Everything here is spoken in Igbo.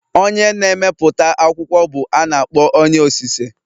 Onye na-emepụta akwụkwọ bụ a na-akpọ onye osise